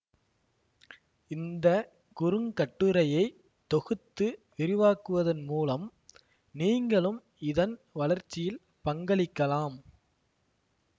இந்த குறுங்கட்டுரையை தொகுத்து விரிவாக்குவதன் மூலம் நீங்களும் இதன் வளர்ச்சியில் பங்களிக்கலாம்